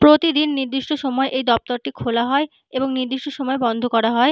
প্রতিদিন নির্দিষ্ট সময় এই দপ্তরটি খোলা হয় এবং নির্দিষ্ট সময় বন্ধ করা হয়।